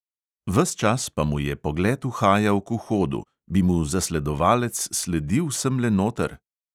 Ves čas pa mu je pogled uhajal k vhodu: bi mu zasledovalec sledil semle noter?